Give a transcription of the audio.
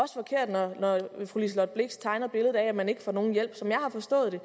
fru liselott blixt tegner et at man ikke får nogen hjælp som jeg har forstået det